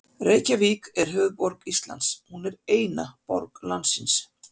Reykjavík er höfuðborg Íslands. Hún er eina borg landsins.